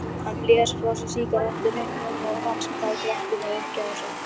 Hann blés frá sér sígarettureyknum og rannsakaði Gretti með uppgjafarsvip.